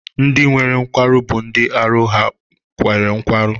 Ndị nwere nkwarụ bụ ndị arụ ha nwere nkwarụ.